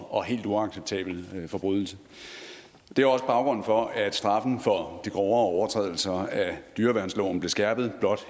og helt uacceptabel forbrydelse det er også baggrunden for at straffen for de grovere overtrædelser af dyreværnsloven blev skærpet